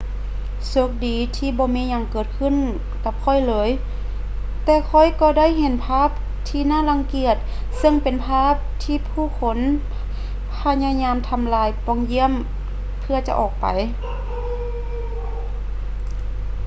ໂຊກດີທີ່ບໍ່ມີຫຍັງເກີດຂື້ນກັບຂ້ອຍເລີຍ ແຕ່ຂ້ອຍກໍໄດ້ເຫັນພາບທີ່ໜ້າລັງກຽດເຊິ່ງເປັນພາບທີ່ຜູ້ຄົນພະຍາຍາມທຳລາຍປ່ອງຢ້ຽມເພື່ອຈະອອກໄປ